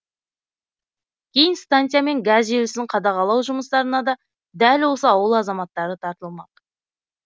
кейін станция мен газ желісін қадағалау жұмыстарына да дәл осы ауыл азаматтары тартылмақ